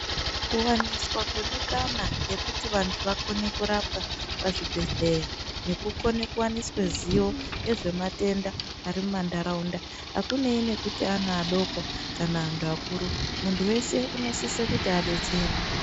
Kuwaniswa kwemikana yekuti vantu vakone kurapwa pazvibhehleya nekukone kuwaniswa ziyo yezvematenda ari mumandaraunda akunei nekuti ana adoko kana antu akuru muntu weshe unosise kuti adetserwe.